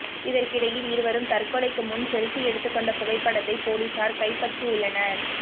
இதற்கிடையில் இருவரும் தற்கொலைக்கு முன் செல்பி எடுத்துக்கொண்ட புகைப்படத்தை பொலிஸார் கைப்பற்றியுள்ளனர்